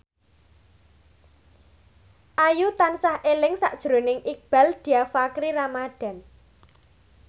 Ayu tansah eling sakjroning Iqbaal Dhiafakhri Ramadhan